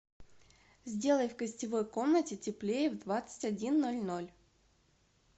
сделай в гостевой комнате теплее в двадцать один ноль ноль